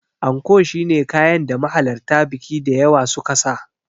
Anko shine kayan da mahalarta biki da yawa suka saka.